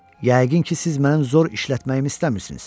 Yəqin ki, siz mənim zor işlətməyimi istəmirsiniz.